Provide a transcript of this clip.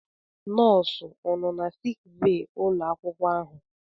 Nọọsụ ọ nọ na sik bee ụlọ akwụkwọ ahụ?